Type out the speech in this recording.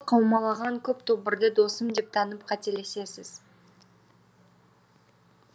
қаумалаған көп тобырды досым деп танып қателесесіз